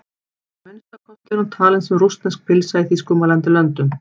Að minnsta kosti er hún talin sem rússnesk pylsa í þýskumælandi löndum.